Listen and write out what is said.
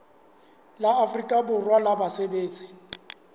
la afrika borwa la basebetsi